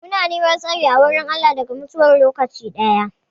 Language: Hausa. Muna neman tsari a wurin Allah daga mutuwar lokaci daya.